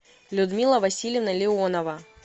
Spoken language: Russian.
людмила васильевна леонова